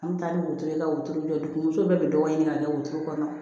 An bɛ taa ni wotoro ye wotoro bɛɛ bɛ dɔgɔ ɲini ka kɛ wotoro kɔnɔ